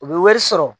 U bɛ wari sɔrɔ